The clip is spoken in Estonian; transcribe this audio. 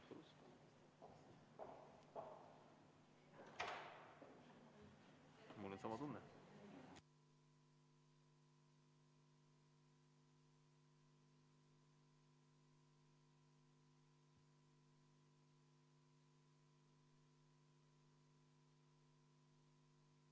V a h e a e g